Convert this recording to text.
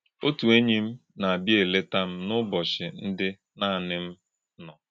Ọ̀tù̄ ényì̄ m nà - àbìá̄ èlètà̄ m n’ụ̀bọ́chí̄ ndị́ nànì̄ m nò̄.